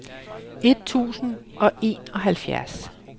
et tusind og enoghalvfjerds